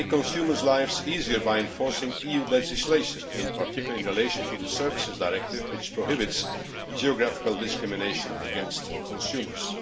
We will make consumers' lives easier by enforcing EU legislation, in particular, in relation to the Services Directive, which prohibits geographical discrimination against consumers.